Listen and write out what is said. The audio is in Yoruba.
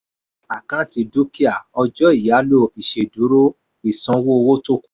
àkáǹtì dúkìá: ọjà iyálò ìsèdúró ìsanwó owó tó kù.